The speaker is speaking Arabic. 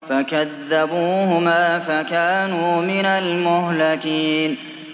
فَكَذَّبُوهُمَا فَكَانُوا مِنَ الْمُهْلَكِينَ